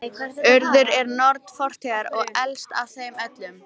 Urður er norn fortíðar og elst af þeim öllum.